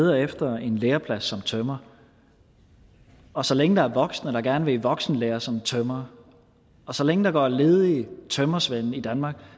leder efter en læreplads som tømrer og så længe der er voksne der gerne vil i voksenlære som tømrer og så længe der går ledige tømrersvende i danmark